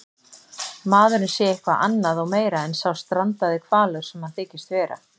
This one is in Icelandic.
maðurinn sé eitthvað annað og meira en sá strandaði hvalur sem hann þykist vera.